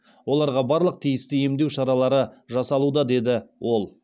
оларға барлық тиісті емдеу шаралары жасалуда деді ол